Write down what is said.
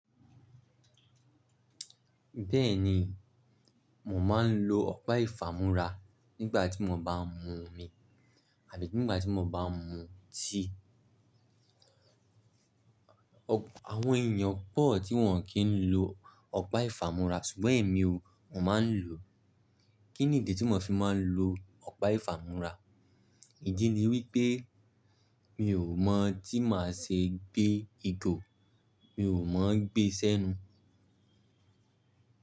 Bẹ́ẹ̀ni, mò máa ń lo ọ̀pá ìfámúrá nígbà tí mò bá ń mu omi àbí nígbà tí mò bá ń mu tea. Àwọn èèyàn pọ̀ tí wọ́n kì n lo ọ̀pá ìfámúrá ṣùgbọ́n èmi o, mò máa ń lò. Kí n ìdí tí mò fi máa ń lo ọ̀pá ìfámúrá? Ìdí ni wípé mi ò mọ̀ tí màá ṣe gbé ìgò, mi ò mọ̀ gbé si enu.